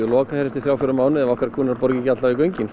lokað eftir þrjá fjóra mánuði ef okkar kúnnar borga ekki í göngin